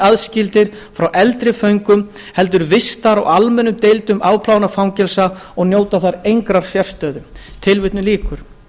aðskildir frá eldri föngum heldur vistaðir á almennum deildum afplánunarfangelsa og njóta þar engrar sérstöðu tilvitnun lýkur